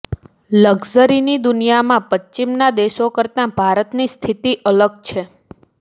લક્ઝરીની દુનિયામાં પશ્ચિમના દેશો કરતાં ભારતની સ્થિતિ અલગ છે